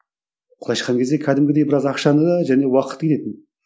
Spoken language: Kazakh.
былайша айтқан кезде кәдімгідей біраз ақшаны да және уақыт